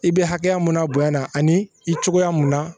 I bɛ hakɛya mun na bonya na ani i cogoya mun na